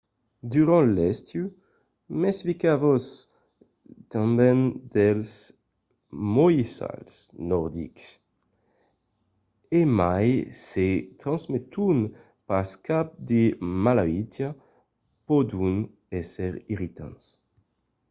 durant l’estiu mesfisatz-vos tanben dels moissals nordics. e mai se transmeton pas cap de malautiá pòdon èsser irritants